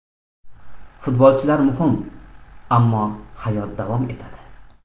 Futbolchilar muhim, ammo hayot davom etadi.